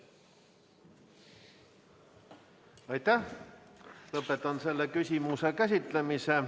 Lõpetan selle küsimuse käsitlemise.